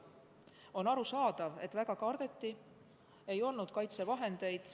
On arusaadav, et väga kardeti, ei olnud kaitsevahendeid.